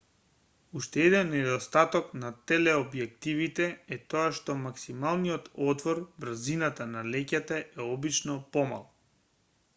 уште еден недостаток на телеобјективите e тоа што максималниот отвор брзината на леќата е обично помал